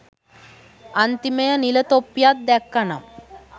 අන්තිමය නිල තොප්පික් දැක්කනම්